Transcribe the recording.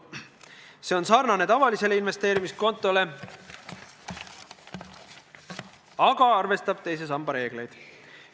See on sarnane tavalise investeerimiskontoga, aga arvestab teise samba reegleid.